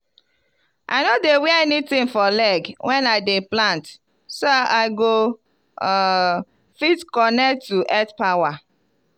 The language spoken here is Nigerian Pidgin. i no dey wear anything for leg when i dey plant so i go um fit connect to earth power.